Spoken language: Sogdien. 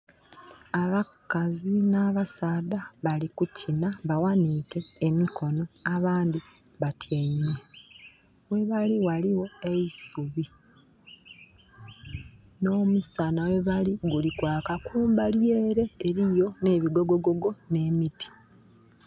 Abakazi nh'abasaadha bali kukina. Baghaniike emikono, abandhi batyaime. Ghebali ghaligho eisubi. Nh'omusana ghebali guli kwaka. Kumbali ele eliyo nh'ebigogogogo, nh'emiti.